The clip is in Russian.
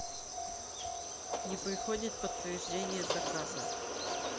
не приходит подтверждение заказа